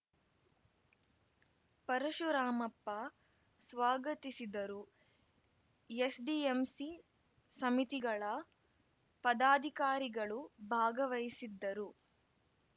ಪರಶುರಾಮಪ್ಪ ಸ್ವಾಗತಿಸಿದರು ಎಸ್‌ಡಿಎಂಸಿ ಸಮಿತಿಗಳ ಪದಾಧಿಕಾರಿಗಳು ಭಾಗವಹಿಸಿದ್ದರು